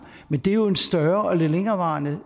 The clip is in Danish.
men det er jo en større og lidt længerevarende